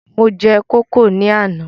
Mo jẹ kókò ní àná